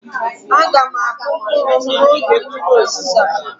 A ga m akụ mkpụrụ m n'oge mmiri ozizo a